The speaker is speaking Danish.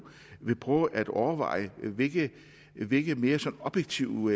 vil prøve at overveje hvilke hvilke mere sådan objektive